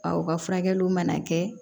u ka furakɛliw mana kɛ